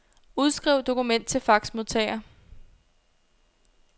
Udskriv dokument til faxmodtager.